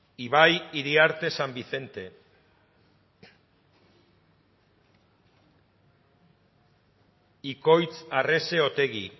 ibai iriarte san vicente ikoitz arrese otegi